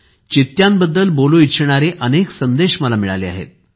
चित्त्यांबद्दल बोलू इच्छिणारे अनेक संदेश मिळाले आहेत